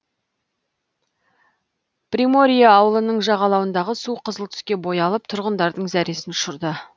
приморье ауылының жағалауындағы су қызыл түске боялып тұрғындардың зәресін ұшырды